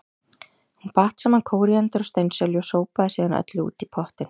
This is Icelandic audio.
Hún batt saman kóríander og steinselju og sópaði síðan öllu út í pottinn.